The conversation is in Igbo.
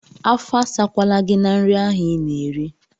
Afọ asakwala gị na nri ahụ ị na-eri!